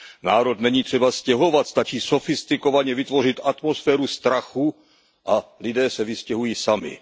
Národ není třeba stěhovat, stačí sofistikovaně vytvořit atmosféru strachu a lidé se vystěhují sami.